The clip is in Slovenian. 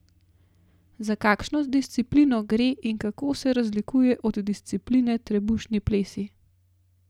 Za kakšno disciplino gre in kako se razlikuje od discipline trebušni plesi?